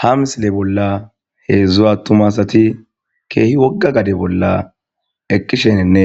Ha missile bola heedzdzu atumma asati kehi woga gate bola eqishenine